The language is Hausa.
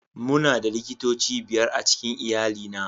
Muna da likitoci biyar a cikin iyalina